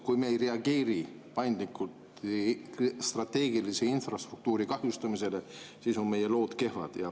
Kui me ei reageeri paindlikult strateegilise infrastruktuuri kahjustamisele, siis on meie lood kehvad.